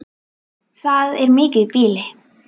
Það er mikið býli.